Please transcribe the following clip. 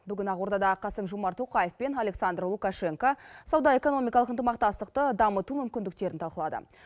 бүгін ақордада қасым жомарт тоқаев пен александр лукашенко сауда экономикалық ынтымақтастықты дамыту мүмкіндіктерін талқылады